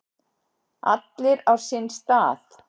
Allir á sinn stað.